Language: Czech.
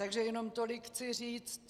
Takže jenom tolik chci říct.